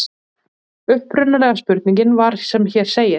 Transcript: Upprunalega spurningin var sem hér segir: